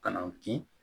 Ka n'an ki